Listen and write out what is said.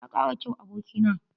Ka kara kyau, aboki na.